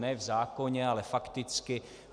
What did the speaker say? Ne v zákoně, ale fakticky.